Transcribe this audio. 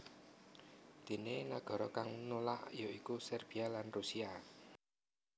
Déné nagara kang nulak ya iku Serbia lan Rusia